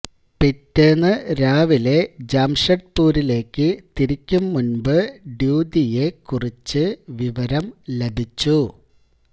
പിറ്റേന്ന് രാവിലെ ജംഷഡ്പുരിലേക്കു തിരിക്കും മുന്പ് ഡ്യൂതിയെക്കുറിച്ച് വിവരം ലഭിച്ചു